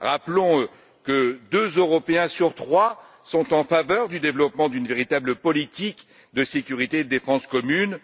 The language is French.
Rappelons que deux Européens sur trois sont en faveur du développement d'une véritable politique de sécurité et de défense commune.